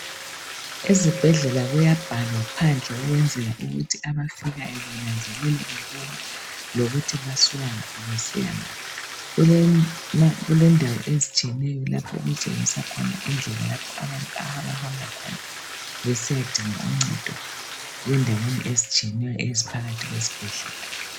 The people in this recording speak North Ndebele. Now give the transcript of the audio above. Ezibhedlela kuyabhalwa phandle ukwenzela ukuthi abafikayo benanzelele bebona lokuthi basuka ngaphi besiya ngaphi, kulendawo ezitshiyeneyo lapho okutshengisa khona indlela lapho abantu abahamba khona besiyadinga uncedo endaweni ezitshiyeneyo eziphakathi kwesibhedlela.